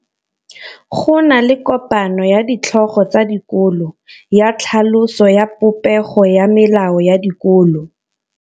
Go na le kopanô ya ditlhogo tsa dikolo ya tlhaloso ya popêgô ya melao ya dikolo.